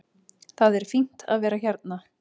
Það er fínt að vera hérna.